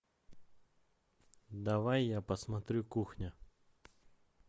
давай я посмотрю кухня